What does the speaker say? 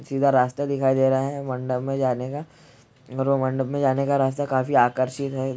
सीधा रास्ता दिखाई दे रहा है मंडप मैं जाने का और वो मंडप मैं जाने का रास्ता काफी आकर्षित है।